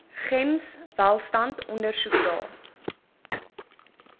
gems welstand ondersoekdae